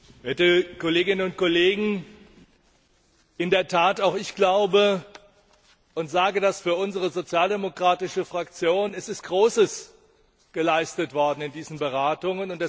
Herr Präsident, werte Kolleginnen und Kollegen! Auch ich glaube und sage das für unsere sozialdemokratische Fraktion Es ist Großes geleistet worden in diesen Beratungen.